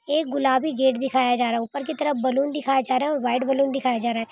एक गुलाबी गेट दिखाया जा रहा है | ऊपर की तरफ बलून दिखाया जा रहा है और व्हाइट बलून दिखाया जा रहा है ।